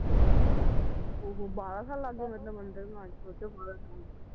ਉਹ ਹੋ ਬਾਹਰਾ ਸਾਲ ਲੱਗ ਗਏ ਮਤਲਬ ਮੰਦਰ ਬਣਾਉਣ ਚ